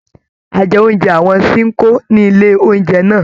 A jẹ oúnjẹ àwọn Ṣinkó ní ilé oúnjẹ náà.